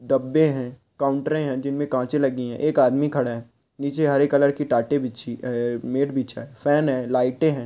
डबे है कांउटर है जिनमें कांच लगी है एक आदमी खड़ा है नीचे हरे कलर की टाट बीछी है नेट बिछे है फेन है लाइट है।